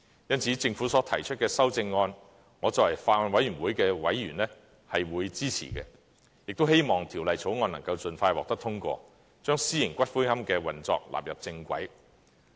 因此，政府所提出的修正案，我作為法案委員會的委員，是會支持的，亦希望《條例草案》能夠盡快獲得通過，將私營龕場的運作納入正軌。